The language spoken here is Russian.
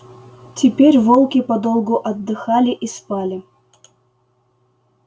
теперь волки подолгу отдыхали и спали